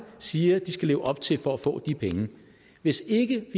siger de skal leve op til for at få de penge hvis ikke